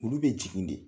Olu bɛ jigin de